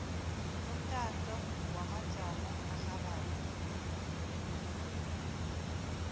lomtato wamajamo arhabako